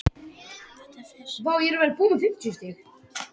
Þetta fer sem sagt allt eftir því hvers eðlis spurningin er.